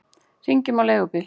Hringjum á leigubíl!